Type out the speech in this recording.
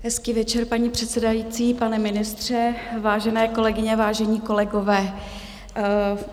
Hezký večer, paní předsedající, pane ministře, vážené kolegyně, vážení kolegové.